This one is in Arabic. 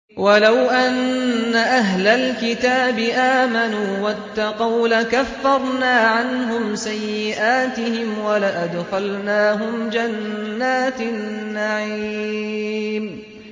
وَلَوْ أَنَّ أَهْلَ الْكِتَابِ آمَنُوا وَاتَّقَوْا لَكَفَّرْنَا عَنْهُمْ سَيِّئَاتِهِمْ وَلَأَدْخَلْنَاهُمْ جَنَّاتِ النَّعِيمِ